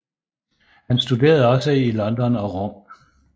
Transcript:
Han studerede også i London og Rom